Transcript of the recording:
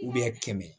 kɛmɛ